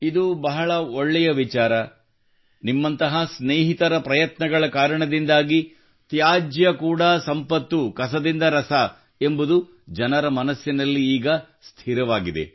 ಇದು ಬಹಳ ಒಳ್ಳೆಯ ವಿಚಾರ ನಿಮ್ಮಂತಹ ಸ್ನೇಹಿತರ ಪ್ರಯತ್ನಗಳ ಕಾರಣದಿಂದಾಗಿ ತ್ಯಾಜ್ಯ ಕೂಡಾ ಸಂಪತ್ತು ಕಸದಿಂದ ರಸ ಎಂಬುದು ಜನರ ಮನಸ್ಸಿನಲ್ಲಿ ಈಗ ಸ್ಥಿರವಾಗಿದೆ